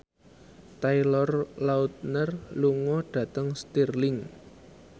Taylor Lautner lunga dhateng Stirling